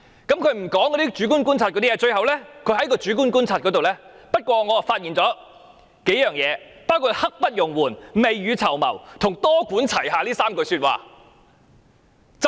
她沒有詳述主觀觀察的內容，卻引述專責小組認為社會普遍認同土地供應"刻不容緩"、"未雨綢繆"及"多管齊下 "3 個重點。